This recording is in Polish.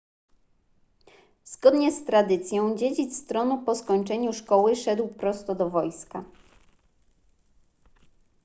zgodnie z tradycją dziedzic tronu po skończeniu szkoły szedł prosto do wojska